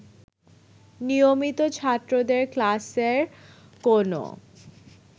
নিয়মিত ছাত্রদের ক্লাসের কোন